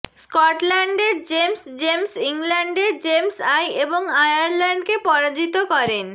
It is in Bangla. স্কটল্যান্ডের জেমস জেমস ইংল্যান্ডের জেমস আই এবং আয়ারল্যান্ডকে পরাজিত করেন